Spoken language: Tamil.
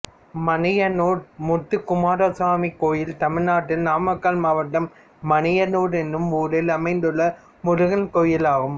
மணியனூர் முத்துக்குமாரசுவாமி கோயில் தமிழ்நாட்டில் நாமக்கல் மாவட்டம் மணியனூர் என்னும் ஊரில் அமைந்துள்ள முருகன் கோயிலாகும்